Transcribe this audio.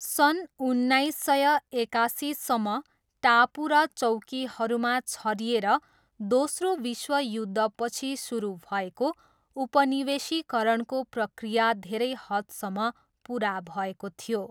सन् उन्नाइस सय एकासीसम्म, टापु र चौकीहरूमा छरिएर दोस्रो विश्वयुद्धपछि सुरु भएको उपनिवेशीकरणको प्रक्रिया धेरै हदसम्म पुरा भएको थियो।